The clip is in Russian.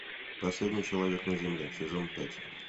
последний человек на земле сезон пять